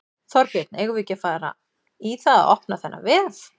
Þorbjörn: Eigum við ekki bara að fara í það að opna þennan vef?